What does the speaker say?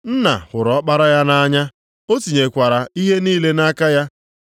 Nna hụrụ Ọkpara ya nʼanya, o tinyekwala ihe niile nʼaka ya.